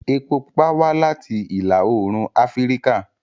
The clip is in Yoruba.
Epo pupa wá láti ìlà-oòrùn Afíríkà